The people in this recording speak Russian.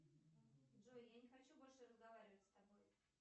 джой я не хочу больше разговаривать с тобой